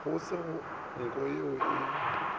go se nko ye e